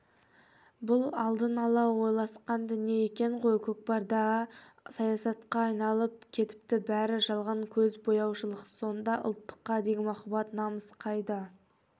бұл алдын ала ойласқан дүние екен ғой көкпарда саясатқа айналып кетіпті бәрі жалған көзбояушылықсонда ұлттыққа деген махаббат намыс қайда